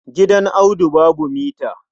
Gidan Audu babu mita.